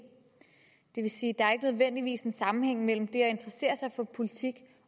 nødvendigvis er en sammenhæng mellem det at interessere sig for politik